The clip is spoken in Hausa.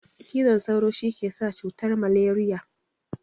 Cizon sauru shikesa cutan maleriya